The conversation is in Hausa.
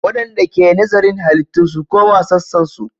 Waɗanda ke nazarin halittu su koma sassansu.